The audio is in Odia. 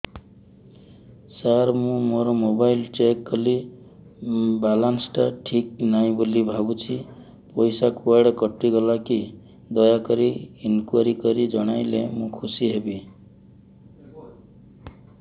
ସାର ମୁଁ ମୋର ମୋବାଇଲ ଚେକ କଲି ବାଲାନ୍ସ ଟା ଠିକ ନାହିଁ ବୋଲି ଭାବୁଛି ପଇସା କୁଆଡେ କଟି ଗଲା କି ଦୟାକରି ଇନକ୍ୱାରି କରି ଜଣାଇଲେ ମୁଁ ଖୁସି ହେବି